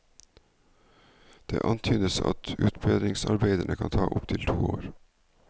Det antydes at utbedringsarbeidene kan ta opp til to år.